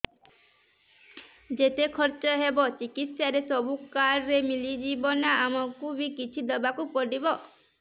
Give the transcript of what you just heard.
ଯେତେ ଖର୍ଚ ହେବ ଚିକିତ୍ସା ରେ ସବୁ କାର୍ଡ ରେ ମିଳିଯିବ ନା ଆମକୁ ବି କିଛି ଦବାକୁ ପଡିବ